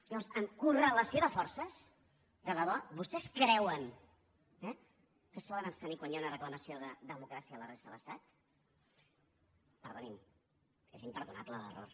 llavors amb correlació de forces de debò vostès creuen que es poden abstenir quan hi ha una reclamació de democràcia a la resta de l’estat perdonin és imperdonable l’error